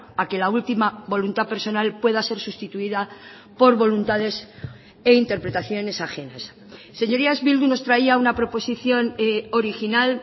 a que la última voluntad personal pueda ser sustituida por voluntades e interpretaciones ajenas señorías bildu nos traía una proposición original